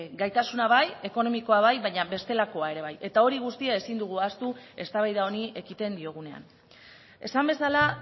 gaitasuna bai ekonomikoa bai baina bestelakoa ere bai eta hori guztia ezin dugu ahaztu eztabaida honi ekiten diogunean esan bezala